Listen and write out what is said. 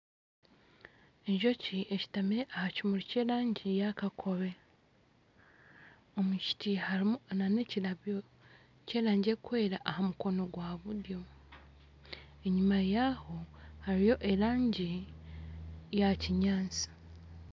Enjoki eshutamire aha kimuri ky'erangi ya kakobe omu kiti harimu n'ekirabyo ky'erangi erikwera aha mukono gwa buryo, enyima yaaho hariyo erangi ya kinyatsi